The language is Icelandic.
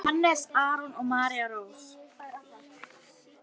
Hannes Aron og María Rós.